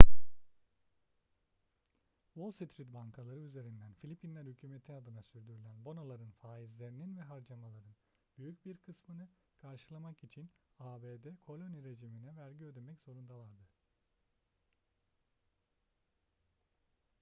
wall street bankaları üzerinden filipinler hükümeti adına sürdürülen bonoların faizlerinin ve harcamaların büyük bir kısmını karşılamak için abd koloni rejimine vergi ödemek zorundalardı